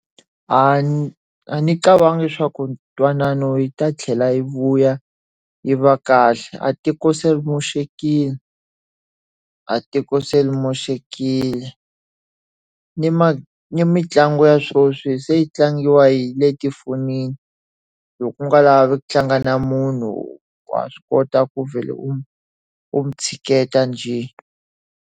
A a ndzi cabangi swa ku ka ntwanano wu ta tlhela wu vuya ri va kahle. Atiko se ri moxekile, atiko se ri moxekileta. Ni ni mitlangu ya sweswi se yi tlangiwa hi le tifonini. Loko u nga lavi ku tlanga na munhu, wa swi kota ku vhele u u n'wi tshiketa njhe.